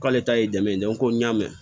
K'ale ta ye dɛmɛ ye ko n y'a mɛn